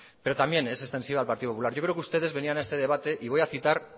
pero también es sentido al partido popular yo creo que ustedes venían a este debate y voy a citar